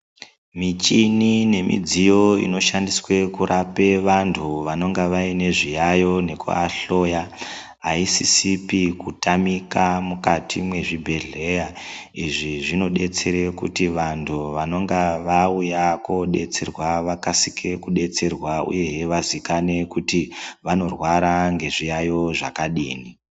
Muchini nemidziyo inoshandiswa kurapa antu anenge ane zviyayiyo nekuahloya ayisisipi kutamika mukati mwezvibhehleya. Izvi zvinodetsera kuti vantu vanenge vauya kodetserwa vakasike kudetserwa uye vazikane kuti vanorwara nezviyaiyo zvakadini.